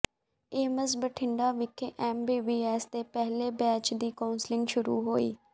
AIIMS Bathinda ਵਿਖੇ MBBS ਦੇ ਪਹਿਲੇ ਬੈਚ ਦੀ ਕੌਂਸਲਿੰਗ ਸ਼ੁਰੂ ਹੋਈ